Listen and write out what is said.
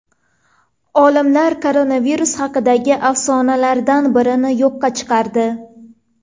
Olimlar koronavirus haqidagi afsonalardan birini yo‘qqa chiqardi.